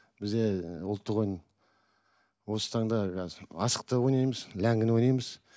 бізде ұлттық ойын осы таңда қазір асық та ойнаймыз ләңгіні ойнаймыз